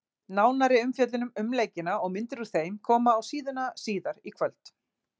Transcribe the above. Nánari umfjöllun um leikina og myndir úr þeim koma á síðuna síðar í kvöld.